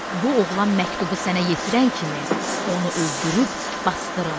Bu oğlan məktubu sənə yetirən kimi onu öldürüb basdırın.